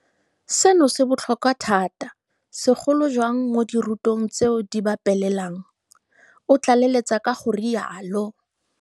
Seno se botlhokwa thata, segolo jang mo dirutweng tseo di ba pelelang, o tlaleletsa ka go rialo.